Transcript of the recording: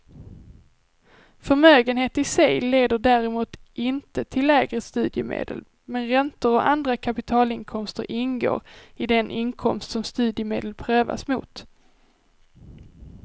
Förmögenhet i sig leder däremot inte till lägre studiemedel, men räntor och andra kapitalinkomster ingår i den inkomst som studiemedel prövas mot.